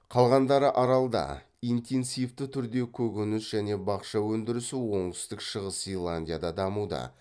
қалғандары аралдарда интенсивті түрде көкеніс және бақша өндірісі оңтүстік шығыс зеландияда дамуда